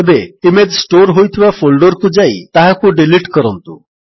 ଏବେ image store ହୋଇଥିବା folder କୁ ଯାଇ ତାହାକୁ ଡିଲିଟ୍ କରନ୍ତୁ